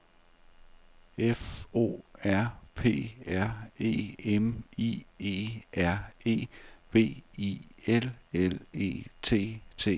F O R P R E M I E R E B I L L E T T E R